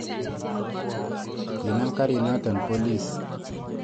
Kinam karinoto polis.